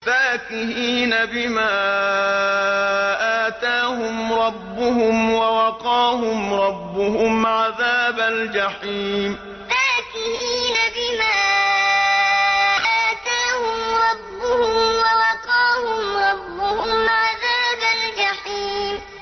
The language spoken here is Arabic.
فَاكِهِينَ بِمَا آتَاهُمْ رَبُّهُمْ وَوَقَاهُمْ رَبُّهُمْ عَذَابَ الْجَحِيمِ فَاكِهِينَ بِمَا آتَاهُمْ رَبُّهُمْ وَوَقَاهُمْ رَبُّهُمْ عَذَابَ الْجَحِيمِ